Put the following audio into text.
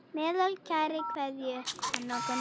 Með kærri kveðju, Hanna Gunn.